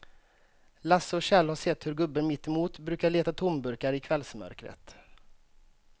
Lasse och Kjell har sett hur gubben mittemot brukar leta tomburkar i kvällsmörkret.